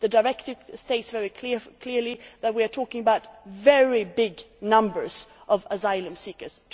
The directive states very clearly that we are talking about very big numbers of asylum seekers.